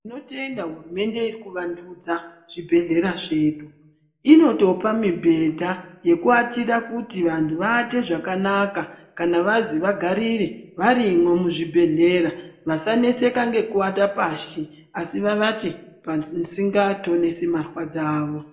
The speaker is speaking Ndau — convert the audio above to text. Tinotenda hurumende irikuvandudza zvibhehleya zvedu inotopa mibhedha yekuatira kuti vanhu vaate zvakanaka kana vazwi vagarire varimwo muzvibhehleya vasaneseka ngeku ate pashi asi vavate pasinga tonesi marwadzo avo.